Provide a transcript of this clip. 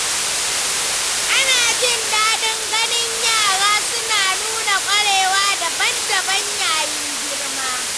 Ana jin daɗin ganin yara suna nuna ƙwarewa ta dabam-dabam yayin girma.